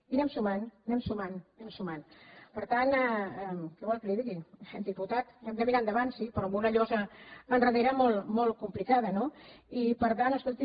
i anem sumant anem sumant eh per tant què vol que li digui diputat hem de mirar endavant sí però amb una llosa endarrere molt complicada no i per tant escolti